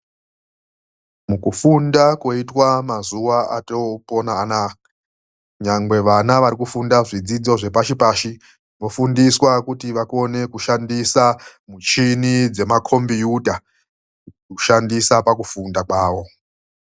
MUKUFUNDA KOITWA MUMAZUWA OTOPONA ANAYA NYANGWE VANA ARIKUFUNDA ZVIDZIDZO ZVEPASIPASI VOFUNDISWA KUTI VAKONE KUSHANDISA MICHINI DZEMAKOMBIYUTA KUSHANDISA PAKUFUNDA KWAWO.